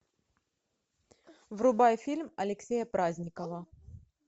врубай фильм алексея праздникова